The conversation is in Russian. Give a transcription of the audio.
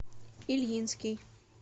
ильинский